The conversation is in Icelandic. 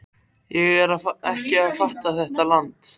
Ég er ekki að fatta þetta land.